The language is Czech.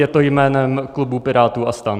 Je to jménem klubu Pirátů a STAN.